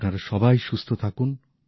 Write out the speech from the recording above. আপনারা সবাই সুস্থ থাকুন